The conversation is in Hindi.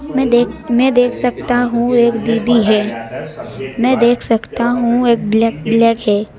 मैं देख मैं देख सकता हूं एक दीदी है मैं देख सकता हूं एक ब्लैक ब्लैक है।